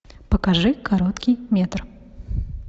покажи короткий метр